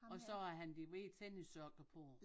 Og så har han de hvide tennissokker på